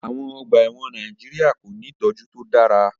Àwon ogbà èwòn Naijiria ko ni ìtójú to dára